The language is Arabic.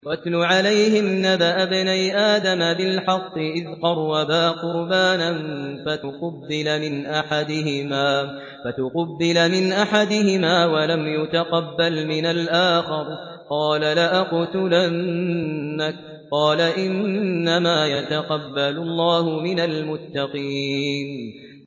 ۞ وَاتْلُ عَلَيْهِمْ نَبَأَ ابْنَيْ آدَمَ بِالْحَقِّ إِذْ قَرَّبَا قُرْبَانًا فَتُقُبِّلَ مِنْ أَحَدِهِمَا وَلَمْ يُتَقَبَّلْ مِنَ الْآخَرِ قَالَ لَأَقْتُلَنَّكَ ۖ قَالَ إِنَّمَا يَتَقَبَّلُ اللَّهُ مِنَ الْمُتَّقِينَ